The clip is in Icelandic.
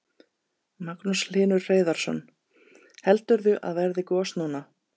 Magnús Hlynur Hreiðarsson: Heldurðu að verði gos núna?